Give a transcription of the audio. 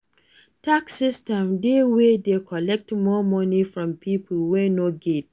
Tax system dey wey de collect more money from pipo wey no get